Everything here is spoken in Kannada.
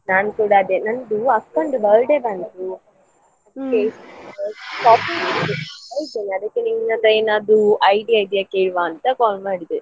ನಾನು ಕೂಡ ಅದೇ ನಂದು ಅಕ್ಕನದ್ದು birthday ಬಂತು ಅದಕ್ಕೆ ನಿನ್ ಹತ್ರ idea ಇದೆಯಾ ಕೇಳುವ ಅಂತ call ಮಾಡಿದೆ.